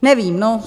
Nevím, no.